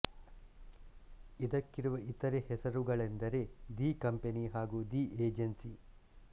ಇದಕ್ಕಿರುವ ಇತರೆ ಹೆಸರುಗಳೆಂದರೆ the company ಹಾಗೂ ದಿ ಏಜೆನ್ಸಿ